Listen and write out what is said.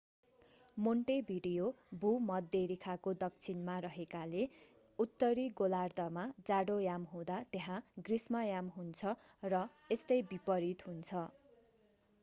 Montevideo भूमध्यरेखाको दक्षिणमा रहेकोले उत्तरी गोलार्द्धमा जाडोयाम हुँदा त्यहाँ ग्रीष्मयाम हुन्छ र यस्तै विपरित हुन्छ